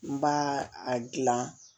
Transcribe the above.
N b'a a gilan